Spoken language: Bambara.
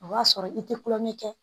O b'a sɔrɔ i te kulonkɛ kɛ